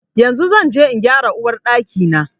Yanzu zan zo in gyara Uwar Ɗaki na.